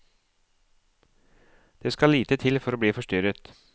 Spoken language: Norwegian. Det skal lite til for å bli forstyrret.